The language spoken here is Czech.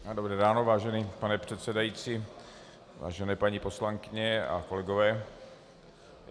Dobré ráno, vážený pane předsedající, vážené paní poslankyně a kolegové.